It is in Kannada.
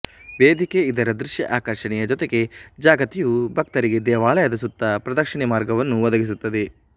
ವೇದಿಕೆ ಇದರ ದೃಶ್ಯ ಆಕರ್ಷಣೆಯ ಜೊತೆಗೆ ಜಗತಿಯು ಭಕ್ತರಿಗೆ ದೇವಾಲಯದ ಸುತ್ತ ಪ್ರದಕ್ಷಿಣೆ ಮಾರ್ಗವನ್ನು ಒದಗಿಸುತ್ತದೆ